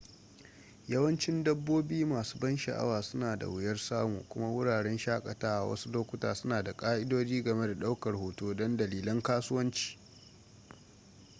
yawancin dabbobi masu ban sha'awa suna da wuyar samu kuma wuraren shakatawa wasu lokuta suna da ƙa'idodi game da ɗaukar hoto don dalilan kasuwanci